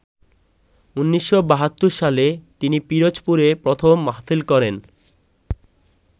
১৯৭২ সালে তিনি পিরোজপুরে প্রথম মাহফিল করেন।